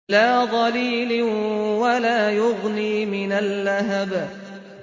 لَّا ظَلِيلٍ وَلَا يُغْنِي مِنَ اللَّهَبِ